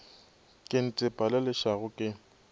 ke ntepa le lešago ke